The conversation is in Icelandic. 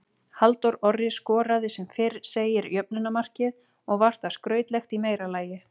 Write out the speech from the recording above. Halldór Orri skoraði sem fyrr segir jöfnunarmarkið og var það skrautlegt í meira lagi.